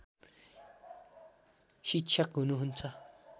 शिक्षक हुनुहुन्छ